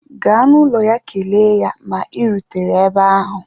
Gaa n'ụlọ ya echi kelee ya ma ị rutere ebe ahụ